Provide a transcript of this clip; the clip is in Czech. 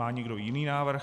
Má někdo jiný návrh?